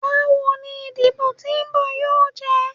Bawo ni idibo ti nbọ yoo jẹ?